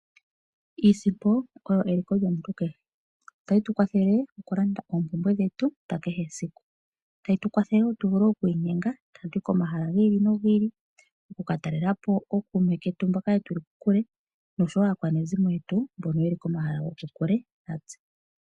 Iisimpo oyo *eliko lyomuntu kehe. Otayi tu kwathele okulanda oompumbwe dhetu dha kehe esiku. Otayi tu kwathele wo tu vule oku inyenga tatu yi komahala gi ili nogi ili oku ka talela po ookuume ketu mboka ye li kokule noshowo aakwanezimo yetu mboka ye li komahala gokokule natse.